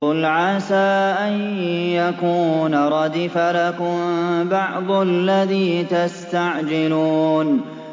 قُلْ عَسَىٰ أَن يَكُونَ رَدِفَ لَكُم بَعْضُ الَّذِي تَسْتَعْجِلُونَ